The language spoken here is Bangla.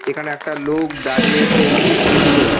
এখানে একটা লোক দাঁড়িয়ে সেলফি তুলছে ।